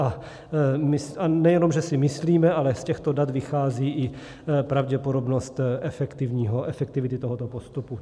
A nejenom že si myslíme, ale z těchto dat vychází i pravděpodobnost efektivity tohoto postupu.